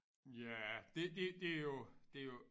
Ja det det der jo det jo